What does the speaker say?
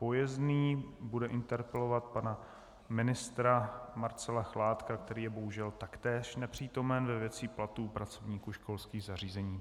Pojezný bude interpelovat pana ministra Marcela Chládka, který je bohužel taktéž nepřítomen, ve věci platů pracovníků školských zařízení.